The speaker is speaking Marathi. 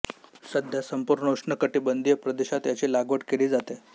सध्या संपूर्ण उष्णकटिबंधीय प्रदेशात याची लागवड केली जाते